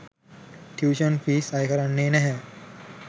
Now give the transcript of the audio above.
tuition fees අයකරන්නේ නැහැ